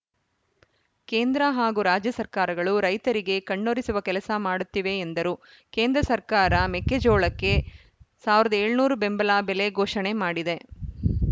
ಕೇಂದ್ರ ಹಾಗೂ ರಾಜ್ಯ ಸರ್ಕಾರಗಳು ರೈತರಿಗೆ ಕಣ್ಣಿರೊಸುವ ಕೆಲಸ ಮಾಡುತ್ತಿವೆ ಎಂದರು ಕೇಂದ್ರ ಸರ್ಕಾರ ಮೆಕ್ಕೆಜೋಳಕ್ಕೆ ಸಾವಿರದ ಏಳುನೂರು ಬೆಂಬಲ ಬೆಲೆ ಘೋಷಣೆ ಮಾಡಿದೆ